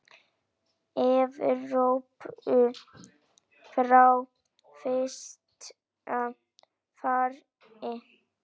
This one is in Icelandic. Evrópu frá fyrsta fari.